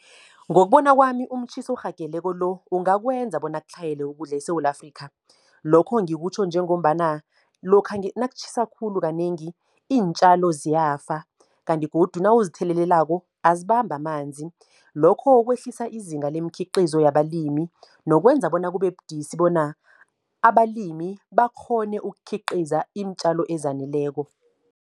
Ngokubona kwami umtjhiso orhageleko lo, ungakwenza bona kutlhayele ukudla eSewula Afrika. Lokhu ngikutjho njengombana, lokha nakutjhisa khulu kanengi iintjalo ziyafa. Kanti godu nawuzithelelelako azibambi amanzi, lokho kwehlisa izinga lemikhiqizo labalimi. Nokwenza bona kube budisi bona abalimi bakghone ukukhiqiza iintjalo ezaneleko.